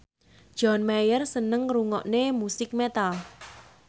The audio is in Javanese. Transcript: John Mayer seneng ngrungokne musik metal